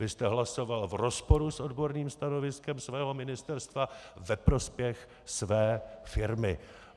Vy jste hlasoval v rozporu s odborným stanoviskem svého ministerstva ve prospěch své firmy.